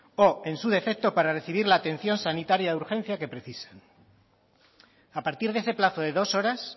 o en su defecto para recibir la atención sanitaria de urgencia que precisen a partir de ese plazo de dos horas